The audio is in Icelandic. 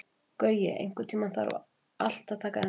Gaui, einhvern tímann þarf allt að taka enda.